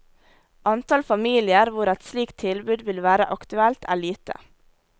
Antall familier hvor et slikt tilbud vil være aktuelt er lite.